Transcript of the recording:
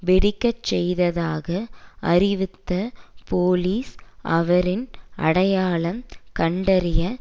வெடிக்க செய்ததாக அறிவித்த போலீஸ் அவரின் அடையாளம் கண்டறிய